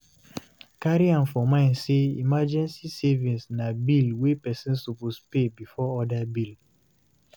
Carry am for mind sey emergency savings na bill wey person suppose pay before oda bill